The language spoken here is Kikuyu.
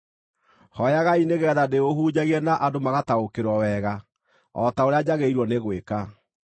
Hooyagai nĩgeetha ndĩũhunjagie na andũ magataũkĩrwo wega, o ta ũrĩa njagĩrĩirwo nĩ gwĩka.